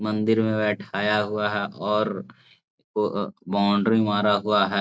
मंदिर में बैठाया हुआ है और ओ अ अ बाउंड्री मारा हुआ है ।